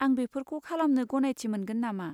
आं बेफोरखौ खालामनो गनायथि मोनगोन नामा?